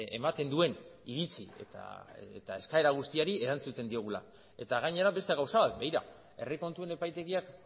ematen duen iritzi eta eskaera guztiei erantzuten diogula eta gainera beste gauza bat begira herri kontuen epaitegiak